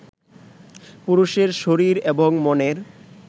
পুরুষের শরীর এবং মনের